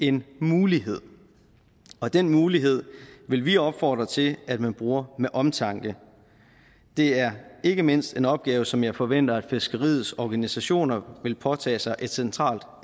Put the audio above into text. en mulighed og den mulighed vil vi opfordre til at man bruger med omtanke det er ikke mindst en opgave som jeg forventer at fiskeriets organisationer vil påtage sig et centralt